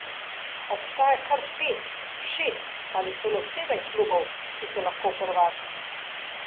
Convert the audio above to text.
Obstaja kar pet, šest ali celo sedem klubov, ki so lahko prvaki.